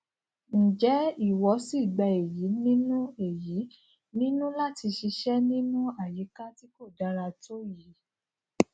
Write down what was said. n jẹ ìwọ sí gbà èyí nínú èyí nínú láti ṣiṣẹ nínú àyíká tí kò dára tó yìí